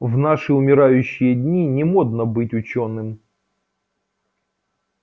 в наши умирающие дни не модно быть учёным